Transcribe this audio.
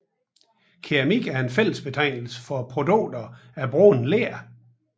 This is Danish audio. Keramik er en fællesbetegnelse for produkter af brændt ler